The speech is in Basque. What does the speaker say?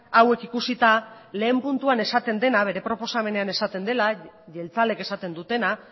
hauek ikusita lehen puntuan esaten dena bere proposamenean esaten dena jeltzaleek esaten dutena